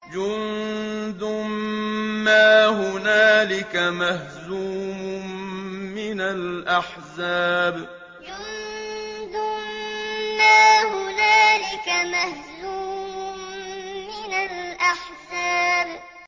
جُندٌ مَّا هُنَالِكَ مَهْزُومٌ مِّنَ الْأَحْزَابِ جُندٌ مَّا هُنَالِكَ مَهْزُومٌ مِّنَ الْأَحْزَابِ